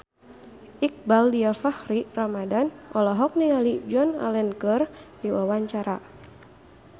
Iqbaal Dhiafakhri Ramadhan olohok ningali Joan Allen keur diwawancara